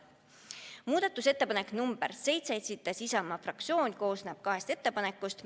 Muudatusettepanek nr 7, mille esitas Isamaa fraktsioon, koosneb kahest ettepanekust.